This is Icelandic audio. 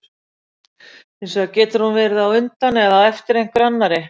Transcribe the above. Hins vegar getur hún verið á undan eða á eftir einhverri annarri.